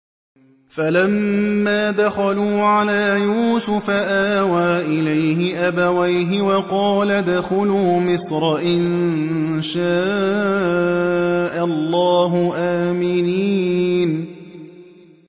فَلَمَّا دَخَلُوا عَلَىٰ يُوسُفَ آوَىٰ إِلَيْهِ أَبَوَيْهِ وَقَالَ ادْخُلُوا مِصْرَ إِن شَاءَ اللَّهُ آمِنِينَ